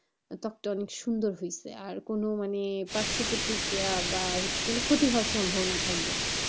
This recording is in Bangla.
ত্বকটা অনেক সুন্দর হয়েছে আর মানে কোন পার্শ্ব প্রতিক্রিয়া বা ক্ষতি হওয়ার সম্ভাবনা থাকবে না.